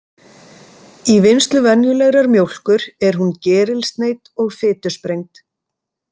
Í vinnslu venjulegrar mjólkur er hún gerilsneydd og fitusprengd.